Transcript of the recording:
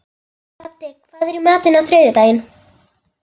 Baddi, hvað er í matinn á þriðjudaginn?